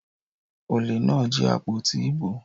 Olè náà jí àpótí ìbò.